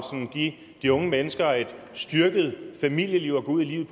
give de unge mennesker et styrket familieliv at gå ud i livet